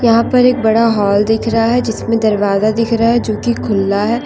यहां पर एक बड़ा हॉल दिख रहा है जिसमें दरवाजा दिख रहा है जो कि खुल्ला है।